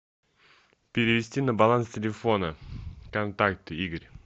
перевести на баланс телефона контакты игорь